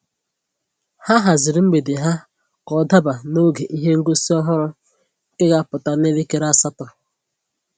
Ha haziri mgbede ha ka ọ daba n'oge ihe ngosi ọhụrụ nke ga apụta n'elekere asatọ